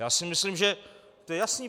Já si myslím, že to je jasné.